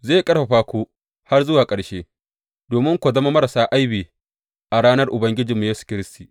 Zai ƙarfafa ku har zuwa ƙarshe, domin ku zama marasa aibi a ranar Ubangijinmu Yesu Kiristi.